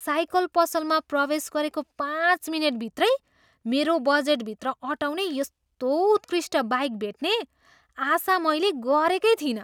Cycle पसलमा प्रवेश गरेको पाँच मिनेटभित्रै मेरो बजेटभित्र अटाउने यस्तो उत्कृष्ट बाइक भेट्ने आशा मैले गरेकै थिइनँ।